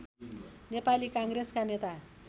नेपाली काङ्ग्रेसका नेता